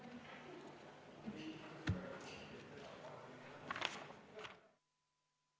Istungi lõpp kell 20.24.